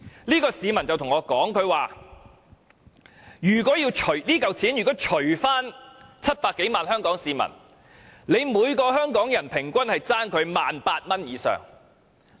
這名市民對我說，如果把這筆款項除以700多萬名香港市民，政府便欠每名香港人平均 18,000 元以上。